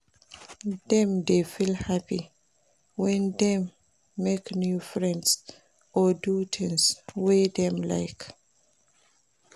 Dem dey feel happy when dem make new friends or do things wey dem like